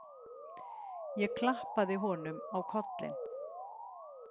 Ég klappaði honum á kollinn.